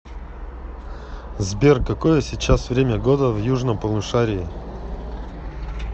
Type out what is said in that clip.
сбер какое сейчас время года в южном полушарии